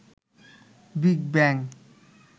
big bang